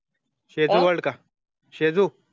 सिजु वोर्क का